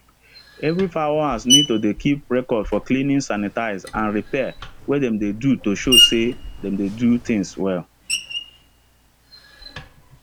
every fowl house need to dey keep record for cleaning sanitize and repair wey them do to show say them dey do things well